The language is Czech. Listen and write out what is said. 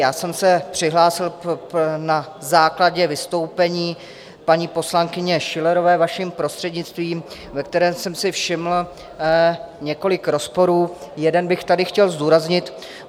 Já jsem se přihlásil na základě vystoupení paní poslankyně Schillerové, vaším prostřednictvím, ve kterém jsem si všiml několik rozporů, jeden bych tady chtěl zdůraznit.